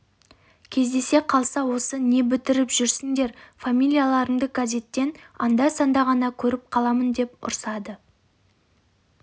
кездесе қалса осы не бітіріп жүрсіңдер фамилияларыңды газеттен анда-санда ғана көріп қаламын деп ұрсады